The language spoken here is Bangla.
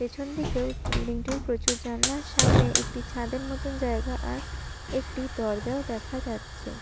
পেছন দিকেও বিল্ডিং টির প্রচুর জানলা আর সামনে একটি ছাদের মতন জায়গা আর একটি দরজাও দেখা যাচ্ছে।